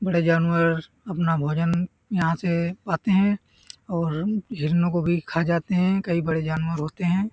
बड़े जानवर अपना भोजन यहाँ से पाते हैं और हिरणों को भी खा जाते हैं कई बड़े जानवर होते हैं ।